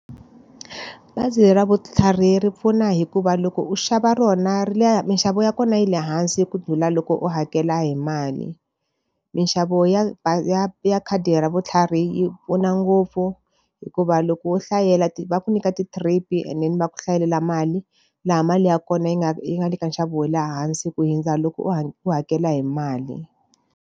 Bazi ra vutlhari ri pfuna hikuva loko u xava rona ri le minxavo ya kona yi le hansi ku ndlhula loko u hakela hi mali. Minxavo ya ya ya khadi ra vutlhari yi pfuna ngopfu, hikuva loko wo hlayela va ku nyika ti-trip-i and then va ku hlayelela mali, laha mali ya kona yi nga yi nga le ka nxavo wa le hansi ku hundza loko u u hakela hi mali.